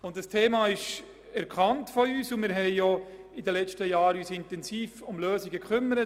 Wir haben das Thema erkannt und uns in den letzten Jahren intensiv um Lösungen bemüht.